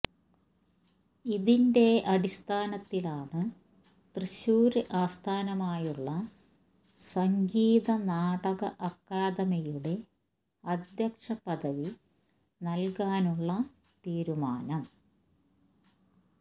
ഇതിന്റെ അടിസ്ഥാനത്തിലാണ് തൃശൂര് ആസ്ഥാനമായുള്ള സംഗീത നാടക അക്കാദമിയുടെ അധ്യക്ഷ പദവി നല്കാനുള്ള തീരുമാനം